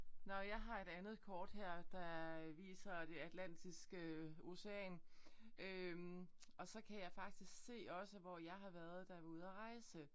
Nåh jeg har et andet kort her der viser det Atlantiske ocean øh og så kan jeg faktisk se også hvor jeg har været da jeg var ude at rejse